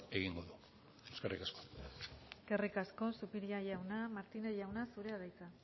egingo du eskerrik asko eskerrik asko zupiria jauna martínez jauna zurea da hitza